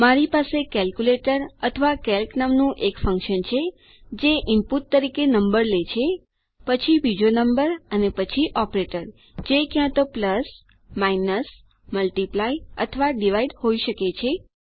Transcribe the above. મારી પાસે કેલ્ક્યુલેટર અથવા કેલ્ક નામનું એક ફન્કશન છે જે ઈનપુટ તરીકે નંબર લે છે પછી બીજો નંબર અને પછી ઓપરેટર જે ક્યાં તો પ્લસ માઇનસ મલ્ટિપ્લાય અથવા ડિવાઇડ હોઈ શકે છે